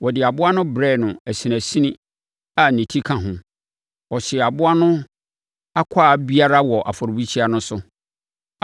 Wɔde aboa no brɛɛ no asinasini a ne ti ka ho. Ɔhyee aboa no akwaa biara wɔ afɔrebukyia no so.